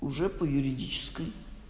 уже по юридической